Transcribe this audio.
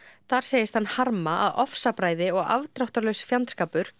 þar segist hann harma að ofsabræði og afdráttarlaus fjandskapur